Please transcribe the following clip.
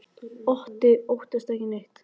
Otti óttast ekki neitt!